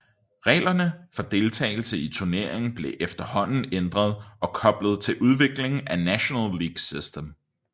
Reglerne for deltagelse i turneringen blev efterhånden ændret og koblet til udviklingen af National League System